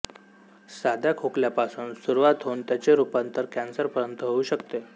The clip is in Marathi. साध्या खोकल्यापासून सुरवात होऊन त्याचे रुपांतर कॅन्सर पर्यत होऊ शकते